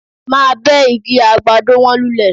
Máa bẹ́ igi àgbàdo wọ̀nyí lulẹ̀